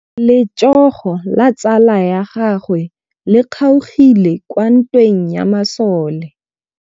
Letsôgô la tsala ya gagwe le kgaogile kwa ntweng ya masole.